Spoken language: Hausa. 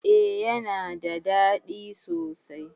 A yana da ɗadi sosai